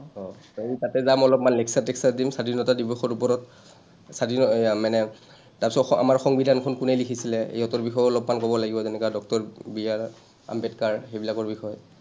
অ, আমি তাতে যাম অলপমান, lecture টেকচাৰ দিম, স্বাধীনতা দিৱসৰ ওপৰত, স্বাধীন মানে, তাৰপিছত আমাৰ সংবিধানখন কোনে লিখিছিলে ইহঁতৰ বিষয়েও অলপমান ক’ব লাগিব যেনেকুৱা ডঃ বি আৰ আম্বেদকাৰ, সেইবিলাকৰ বিষয়ে,